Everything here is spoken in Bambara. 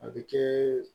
A bɛ kɛ